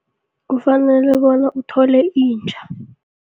Kufanele bona uthole inja.